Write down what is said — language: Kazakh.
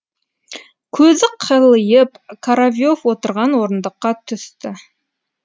көзі қылиып коровьев отырған орындыққа түсті